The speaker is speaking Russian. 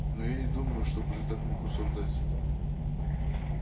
но я не думаю чтобы ты мог так рассуждать